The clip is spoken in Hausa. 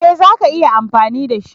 Ee za ka iya amfani da shi.